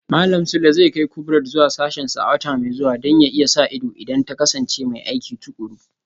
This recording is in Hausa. Malam Sule zai kai Kubrat zuwa sashensa a wata mai zuwa Don ya iya sa ido idan ta kasance mai aiki tukuru